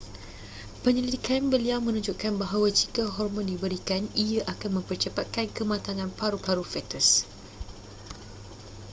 penyelidikan beliau menunjukkan bahawa jika hormon diberikan ia akan mempercepatkan kematangan paru-paru fetus